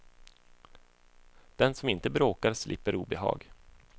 Den som inte bråkar slipper obehag.